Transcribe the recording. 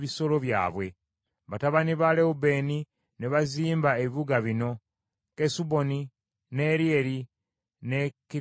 Batabani ba Lewubeeni ne bazimba ebibuga bino: Kesuboni, ne Ereyale, ne Kiriyasayimu,